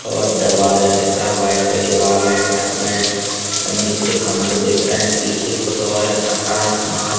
और दरवाजा देख रहा वाइट है दीवाल है शटर है और नीचे खंभे दिख रहे है पीछे कुछ और रखा है समान।